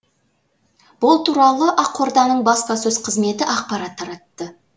бұл туралы ақорданың баспасөз қызметі ақпарат таратты